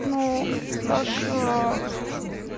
ну даша